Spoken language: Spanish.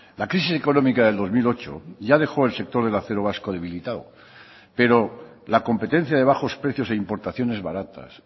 la crisis económica del dos mil ocho ya dejó el sector del acero vasco debilitado pero la competencia de bajos precios e importaciones baratas